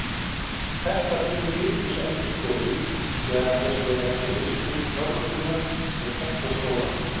Þetta telur Ríkisendurskoðun meðal annars vera vegna mismunandi fjármögnunar og tekna skólanna.